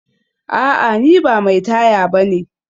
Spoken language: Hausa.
A'a ni ba mai taya bane